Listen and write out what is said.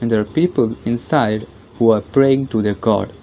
here people inside who are praying to their god.